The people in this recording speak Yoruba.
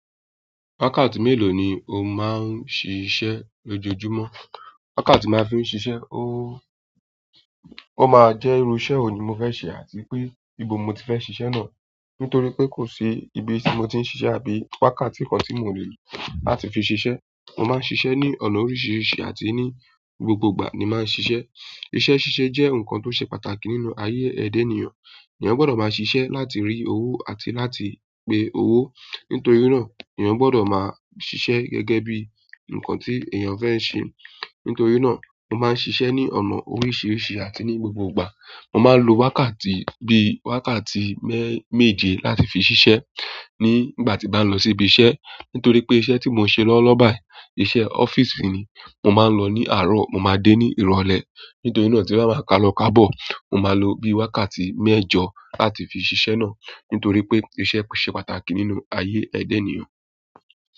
Wákàtí mélòó ni o máa ń ṣiṣẹ́ lójoojúmọ́? Wákàtí tí mo máa ń fi ń ṣiṣẹ́, ó máa jẹ́ irú iṣẹ́ wo ni mo fẹ́ ṣe àti pé ibo mo ti fẹ́ ṣiṣẹ́ náà. Nítorí pé kò sí ibi tí mo ti ń ṣiṣẹ́ àbí wákàtí kan tí mòle láti fi ṣiṣẹ́. Mo maa n sise ni ọ̀nà oríṣiríṣi àti ni gbogbo ìgbà ni maa n sise iṣẹ́ ṣíṣe jẹ́ ohun kan tó ṣe pàtàkì nínú ayé ẹ̀da ènìyàn. Ẹ̀yàn gbọ́dọ̀ máa ṣiṣẹ́ láti rí owó àti láti gbé owó. Nítorí na eeyan gbodo maa sise gẹ́gẹ́ bi nkan ti eeyan fe se. Nítorí náà, mo máa ń ṣiṣẹ́ ní ọ̀nà oríṣiríṣi àti ní gbogbogbà. Mo máa ń lo wákàtí bíi wákàtí méjè láti fi ṣiṣẹ́ nígbà tí bá lọ síbi iṣẹ́. Nítorí pé iṣẹ́ tí mò ń ṣe lọ́wọ́ lowo bayi, iṣẹ́ ọ́fíìsì ni, mo máa ń lọ ní àárọ̀ mo máa dé ní ìrọ̀lẹ́. Nítorí náà tí n bá ma ka lọ ká bọ̀, mo máa lo bíi wákàtí mẹ́jọ láti fi ṣiṣẹ́ náà. Nítorí pé iṣẹ́ ṣe pàtàkì nínú ayé ẹ̀dè ènìyàn.